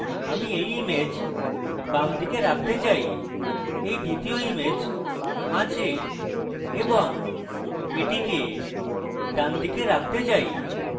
আমি এই image বামদিকে রাখতে চাই এই দ্বিতীয় image মাঝে এবং এটিকে ডানদিকে রাখতে চাই